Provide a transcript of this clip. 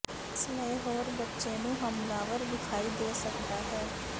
ਇਸ ਲਈ ਹੋਰ ਬੱਚੇ ਨੂੰ ਹਮਲਾਵਰ ਵਿਖਾਈ ਦੇ ਸਕਦਾ ਹੈ